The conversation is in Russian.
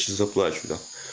сейчас заплачу да